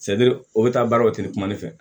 o bɛ taa baaraw tɛ kuma ne fɛ